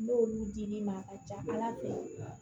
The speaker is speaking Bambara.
N'olu dir'i ma a ka ca ala fɛ